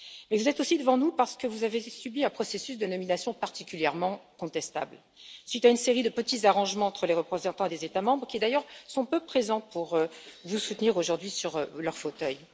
Vous êtes aussi devant nous parce que vous avez subi un processus de nomination particulièrement contestable, suite à une série de petits arrangements entre les représentants des États membres, qui d'ailleurs sont peu présents pour vous soutenir aujourd'hui sur leurs fauteuils.